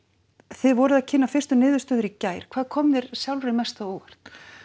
þið voruð að kynna fyrstu niðurstöður í gær hvað kom þér sjálfri mest á óvart